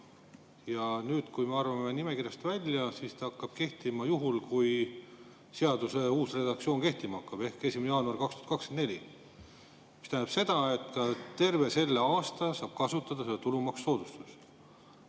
Aga nüüd, kui me arvame nimekirjast välja, siis see hakkab kehtima – juhul, kui seaduse uus redaktsioon kehtima hakkab – 1. jaanuaril 2024, mis tähendab seda, et terve selle aasta saab kasutada seda tulumaksusoodustust.